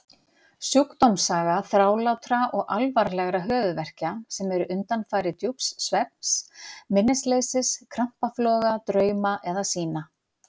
Sjúkdómssaga þrálátra og alvarlegra höfuðverkja sem eru undanfari djúps svefns, minnisleysis, krampafloga, drauma eða sýna.